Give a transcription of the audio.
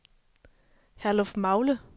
Herlufmagle